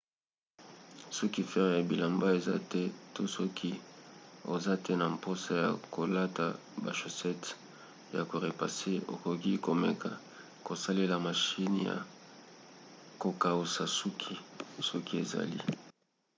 soki fer ya bilamba eza te to soki oza te na mposa ya kolata ba shosete ya ko repasse okoki komeka kosalela mashine ya kokausa suki soki ezali